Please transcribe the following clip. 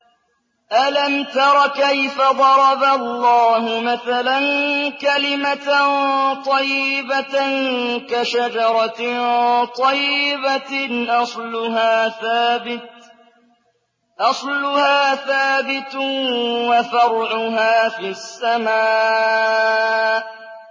أَلَمْ تَرَ كَيْفَ ضَرَبَ اللَّهُ مَثَلًا كَلِمَةً طَيِّبَةً كَشَجَرَةٍ طَيِّبَةٍ أَصْلُهَا ثَابِتٌ وَفَرْعُهَا فِي السَّمَاءِ